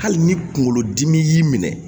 Hali ni kunkolodimi y'i minɛ